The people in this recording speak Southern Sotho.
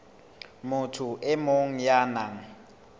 motho e mong ya nang